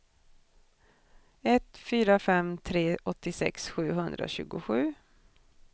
ett fyra fem tre åttiosex sjuhundratjugosju